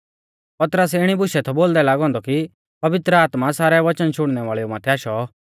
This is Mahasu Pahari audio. पतरस इणी बुशै बोलदै थौ लागौ औन्दौ कि पवित्र आत्मा सारै वचन शुणनै वाल़ेऊ माथै आशौ